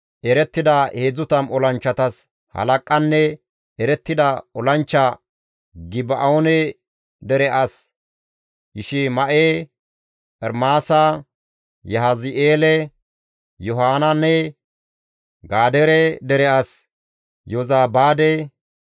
erettida 30 olanchchatas halaqanne erettida olanchcha Geba7oone dere as Yishima7e, Ermaasa, Yahazi7eele, Yohanaane, Gadeere dere as Yozabaade,